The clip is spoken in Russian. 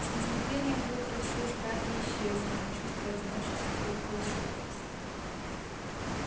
с наступлением утра все страхи исчезли но чувство одиночества только усилилось